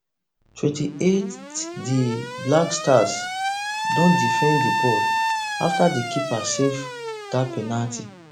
twenty-eightdi blackstars don defend di ball afta di keeper save dat penalty